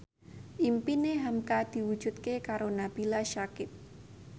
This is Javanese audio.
impine hamka diwujudke karo Nabila Syakieb